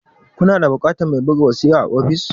Ku na da buƙatar mai buga wasiƙa a office?